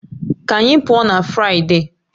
Ka anyị pụọ na Fụraịde